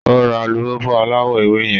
O ra alupupu alawọ ewé yẹn